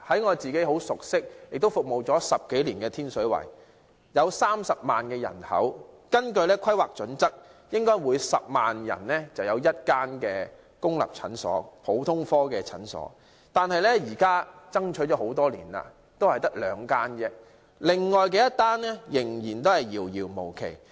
我自己很熟悉和10多年來服務的天水圍有30萬人口，根據《規劃標準》，每10萬人便應有1間公立普通科診所，雖然經過多年爭取，天水圍現在只有兩間公立普通科診所，另外1間仍然遙遙無期。